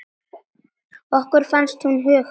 Okkur fannst hún huguð.